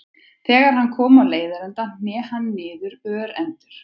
Þegar hann kom á leiðarenda hné hann niður örendur.